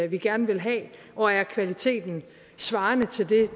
vi gerne vil have og er kvaliteten svarende til